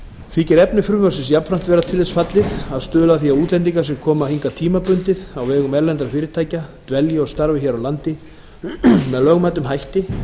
þykir efni frumvarpsins jafnframt vera til þess fallið að stuðla að því að útlendingar sem koma hingað tímabundið á vegum erlendra fyrirtækja dvelji og starfi hér á landi með lögmætum hætti